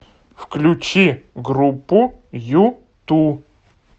включи группу юту